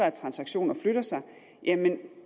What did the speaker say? at transaktioner flytter sig